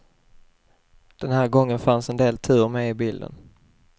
Den här gången fanns en del tur med i bilden.